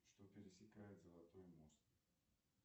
что пересекает золотой мост